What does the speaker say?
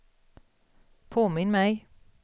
påminn mig